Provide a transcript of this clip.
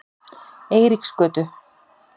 Eiríksgötu